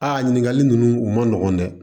Aa ɲininkali ninnu u ma nɔgɔn dɛ